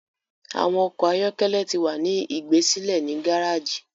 Awọn ọkọ ayọkẹlẹ tí wá ní igbesile ni gàràgii